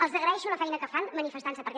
els agraeixo la feina que fan manifestant se perquè